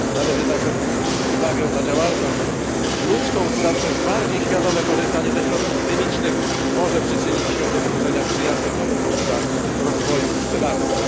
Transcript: Należy także zwrócić uwagę na działalność ludzką, która przez bardziej świadome korzystanie ze środków chemicznych może przyczynić się do stworzenia przyjaznych warunków dla rozwoju pszczelarstwa.